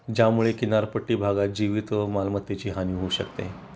ज्यामुळे किनारपट्टी भागात जीवित व मालमत्तेची हानी होऊ शकते